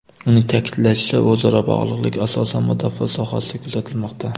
Uning ta’kidlashicha, o‘zaro bog‘liqlik asosan mudofaa sohasida kuzatilmoqda.